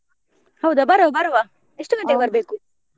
ಹೌದಾ ಬರುವ ಬರುವ ಎಷ್ಟ್ ಬರ್ಬೇಕು?